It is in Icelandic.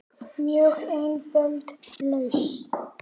Mjög einföld lausn.